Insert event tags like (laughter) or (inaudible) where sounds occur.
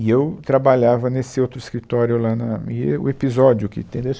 E eu trabalhava nesse outro escritório lá, na, e e o episódio que (unintelligible)